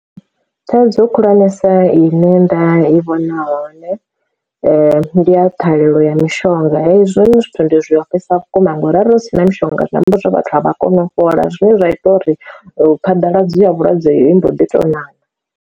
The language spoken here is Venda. Thaidzo khulwanesa ine nda i vhona hone ndi ya ṱhahelelo ya mishonga hezwi zwithu ndi zwi ofhesa vhukuma ngauri arali hu si na mishonga na vhathu a vha kone u fhola zwine zwa ita uri phaḓaladzo ya vhulwadze heyi mbo ḓi tou ṋaṋa.